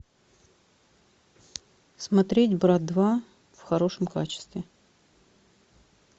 смотреть брат два в хорошем качестве